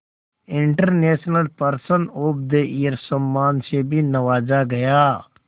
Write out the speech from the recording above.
international person of the year सम्मान से भी नवाजा गया